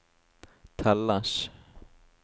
telles